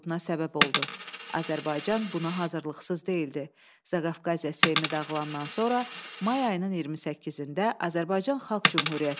Şərqdə ilk demokratik respublikanın ölkəmizdə yaranması təkcə ədəbiyyatımızda deyil, milli mədəni düşüncəmizdə özünü dərkin, özünə qayıdışın möhkəm təməlini qoydu.